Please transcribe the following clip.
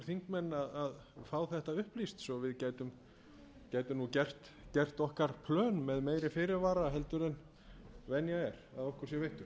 þingmenn að fá þetta upplýst svo við gætum nú gert okkar plön með meiri fyrirvara heldur en venja er að okkur sé veittur